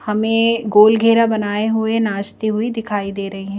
हमें गोल घेरा बनाए हुए नाचती हुई दिखाई दे रही है।